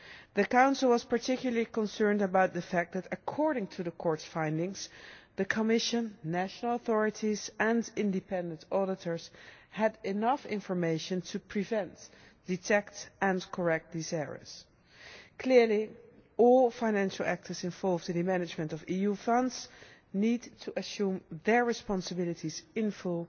The Council was particularly concerned about the fact that, according to the Court's findings, the Commission, national authorities and independent auditors had enough information to prevent, detect and correct these errors. Clearly, all financial actors involved in the management of EU funds need to assume their responsibilities in full,